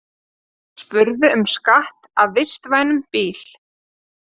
Spurðu um skatt af vistvænum bíl